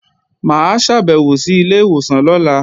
Mà á ṣàbẹ̀wò sí ilé ìwòsàn lọ́la